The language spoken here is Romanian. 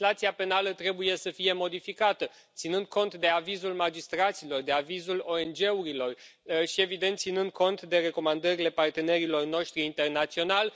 Legislația penală trebuie să fie modificată ținând cont de avizul magistraților, de avizul ONG urilor și, evident, ținând cont de recomandările partenerilor noștri internaționali.